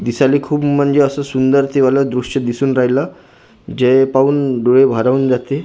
दिसायले खूप म्हणजे सुंदर ते वालं दृश्य दिसून राहिलं जे पाहून डोळे भारावून जाते .